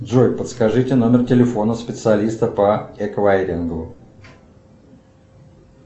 джой подскажите номер телефона специалиста по эквайрингу